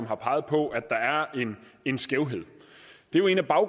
har peget på at der er en skævhed det var en af